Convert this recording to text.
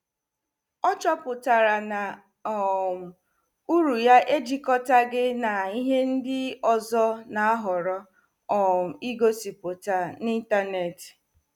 Ọ chọpụtara na um uru ya ejikọtaghị na ihe ndị ọzọ na-ahọrọ um igosipụta n'ịntanetị.